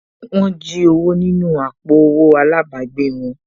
Wọ́n jí owó nínú àpò owó àlábàgbèè wọn